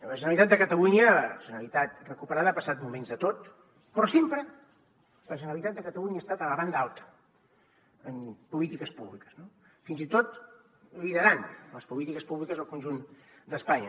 la generalitat de catalunya la generalitat recuperada ha passat moments de tot però sempre la generalitat de catalunya està a la banda alta en polítiques públiques fins i tot liderant les polítiques públiques al conjunt d’espanya